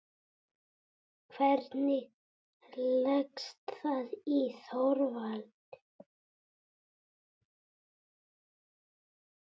Hvernig leggst það í Þorvald?